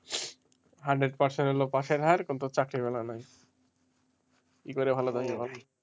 hundred percent হলো পাশের হার চাকরির বেলায় নাই কি করে ভালো থাকবো?